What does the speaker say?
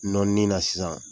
Nɔni na sisan